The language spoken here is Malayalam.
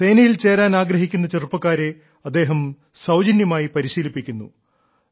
സേനയിൽ ചേരാൻ ആഗ്രഹിക്കുന്ന ചെറുപ്പക്കാരെ അദ്ദേഹം സൌജന്യമായി പരിശീലിപ്പിക്കുന്നു